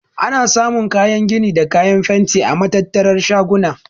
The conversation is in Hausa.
Ana samun kayan gini da kayan fenti a matattarar shaguna.